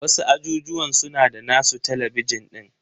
Wasu ajujuwan suna da nasu talabijin din.